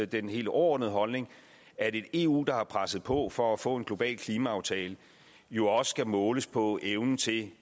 den helt overordnede holdning at et eu der har presset på for at få en global klimaaftale jo også skal måles på evnen til